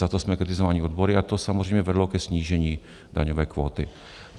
Za to jsme kritizováni odbory a to samozřejmě vedlo ke snížení daňové kvóty.